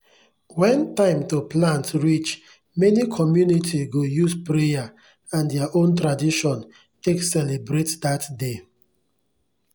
when time to plant reach many community go use prayer and their own tradition take celebrate dat day.